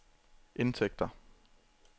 indtægter